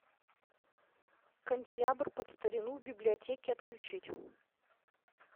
канделябр под старину в библиотеке отключить